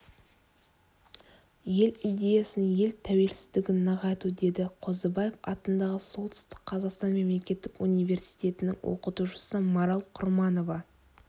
ел идеясын ел тәуелсіздігін нығайту деді қозыбаев атындағы солтүстік қазақстан мемлекеттік университетінің оқытушысы марал құрманова